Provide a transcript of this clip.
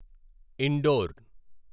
indoor